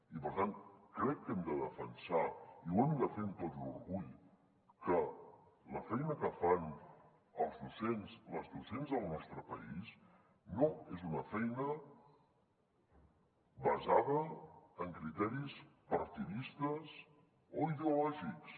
i per tant crec que hem de defensar i ho hem de fer amb tot l’orgull que la feina que fan els docents i les docents del nostre país no és una feina basada en criteris partidistes o ideològics